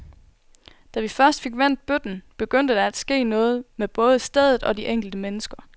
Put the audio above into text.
Da vi først fik vendt bøtten, begyndte der at ske noget med både stedet og de enkelte mennesker.